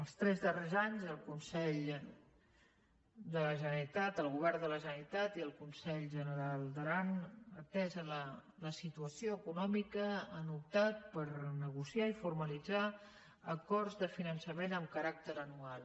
els tres darrers anys el govern de la generalitat i el consell general d’aran atesa la situació econòmica han optat per negociar i formalitzar acords de finançament amb caràcter anual